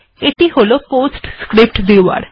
এটি হল PostScript viewer